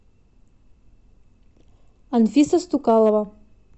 анфиса стукалова